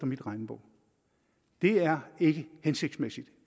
min regnebog det er ikke hensigtsmæssigt